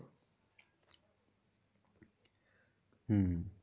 হম